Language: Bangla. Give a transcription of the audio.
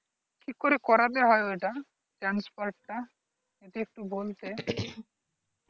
কি করে করবে ওটা transfer টা যদি একটু বলতে